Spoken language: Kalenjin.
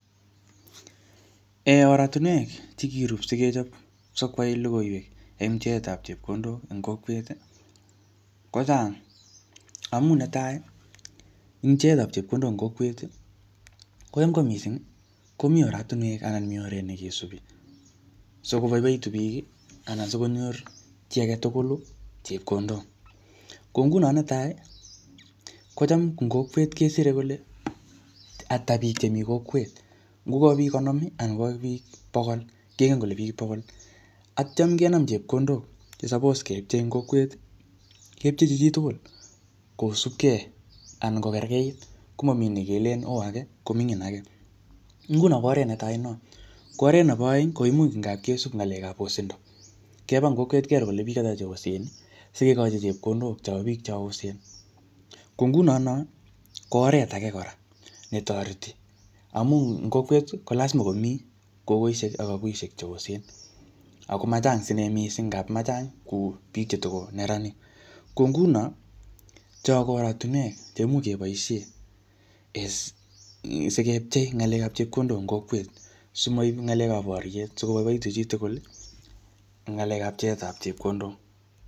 En oratunwek chekirup sikechop sikwai logoiwek en pcheetab chepkondok en kokwet, kochang. Amuu netai eng pcheetab chepkondok en kokwet, kocham ko missing komii oratunwek anan mii oret nekesubi sikoboiboitu biik, anan sikonyor chi age tugulu chepkondok. Ko nguno netai, kocham ing kokwet kesire kole ata biiik chemii kokwet. Ngoka biik konom, anan koka biik bokol, kengen kole biik bokol. Atyam kenam chepkondok che suppose kepchee ing kokwet, kepchechi chitugul kosubkei anan kokerkeit. Komamii nekelen, oo age, ko mingin age. Nguno ko oret netai konot. Ko oret nebo aeng, koimuch ngapkesub ng'alekap osindo. Keba eng kokwet kero kole biik ata cheosen, sikekcohi chepkondok chobo biik cho osen. Ko nguno noo, ko oret age kora netoreti. Amu eng kokwet, ko lasima komii kogoishek ak aguisgek che osen. Ako machang sine missing, ngap machang kou biik chetiko neranik. Ko nguno, cho ko oratunwek che imuch keboisie um sikepchei ng'alekap chepkondok eng kokwet. Simaip ng'alekap boryet, sikoboiboitu chi tugul eng ng'alekap pcheetap chepkondok.